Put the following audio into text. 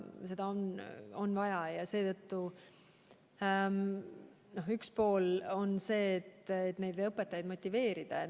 Seetõttu on üks pool see, kuidas õpetajaid motiveerida.